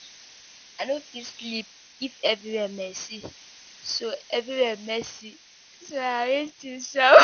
I no fit sleep if everywhere messy, so everywhere messy, so I arrange things sharp.